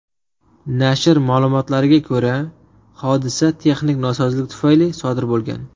Nashr ma’lumotlariga ko‘ra, hodisa texnik nosozlik tufayli sodir bo‘lgan.